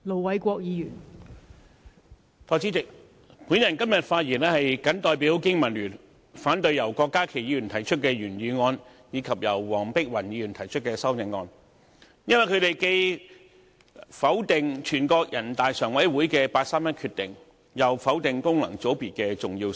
代理主席，我今天謹代表香港經濟民生聯盟發言，反對由郭家麒議員提出的原議案，以及由黃碧雲議員提出的修正案。因為，他們既否定人大常委會的八三一決定，又否定功能界別的重要性。